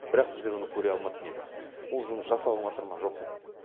бірақ біздер оны көре алмайтын едік ол жұмыс жасалыныватыр ма жоқ па